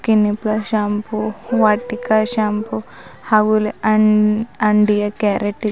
clinic Plus shampoo Vatika shampoo ಹಾಗೂ ಇಲ್ಲಿ um ಅಂಡಿಯ ಕ್ಯಾರಟ್ ಇ --